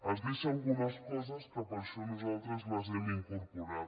es deixa algunes coses que per això nosaltres les hem incorporat